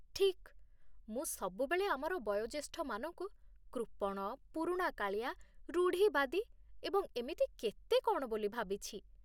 ଠିକ୍! ମୁଁ ସବୁବେଳେ ଆମର ବୟୋଜ୍ୟେଷ୍ଠମାନଙ୍କୁ କୃପଣ, ପୁରୁଣାକାଳିଆ, ରୁଢ଼ିବାଦୀ ଏବଂ ଏମିତି କେତେ କ'ଣ ବୋଲି ଭାବିଛି।